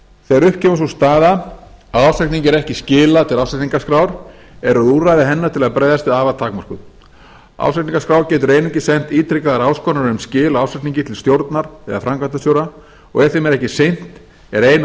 þegar upp kemur sú staða að ársreikningi er ekki skilað til ársreikningaskrár eru úrræði hennar til að bregðast við afar takmörkuð ársreikningaskrá getur einungis sent ítrekaðar áskoranir um skil á ársreikningi til stjórnar eða framkvæmdastjóra og ef þeim er ekki sinnt er eina